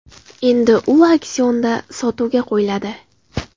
Endi u auksionda sotuvga qo‘yiladi.